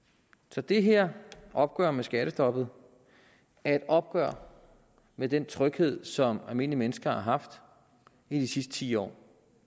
så det her opgør med skattestoppet er et opgør med den tryghed som almindelige mennesker har haft i de sidste ti år